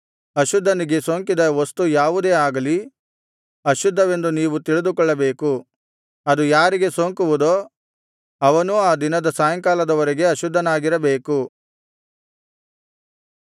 ಅಶುದ್ಧನಿಗೆ ಸೋಂಕಿದ ವಸ್ತು ಯಾವುದೇ ಆಗಲಿ ಅಶುದ್ಧವೆಂದು ನೀವು ತಿಳಿದುಕೊಳ್ಳಬೇಕು ಅದು ಯಾರಿಗೆ ಸೋಂಕುವುದೋ ಅವನೂ ಆ ದಿನದ ಸಾಯಂಕಾಲದವರೆಗೆ ಅಶುದ್ಧನಾಗಿರಬೇಕು